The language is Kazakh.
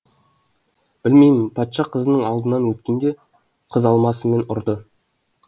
білмеймін патша қызының алдынан өткенде қыз алмасымен ұрды